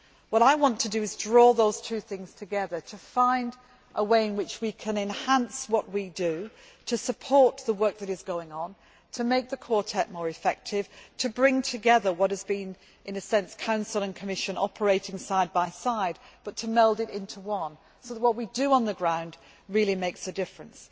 What I want to do is draw those two things together, to find a way in which we can enhance what we do, to support the work that is going on, to make the Quartet more effective, to bring together what has been, in a sense, the Council and Commission operating side by side, and to meld it into one so that what we do on the ground really makes a difference.